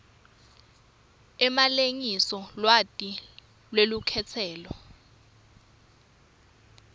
emalengiso lwati lwelukhetselo